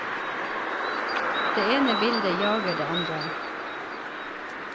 Det ene bildet jager det andre.